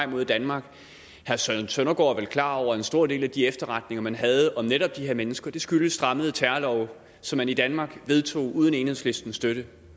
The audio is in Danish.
mod danmark herre søren søndergaard er vel klar over at en stor del af de efterretninger man havde om netop de her mennesker skyldes strammede terrorlove som man i danmark vedtog uden enhedslistens støtte det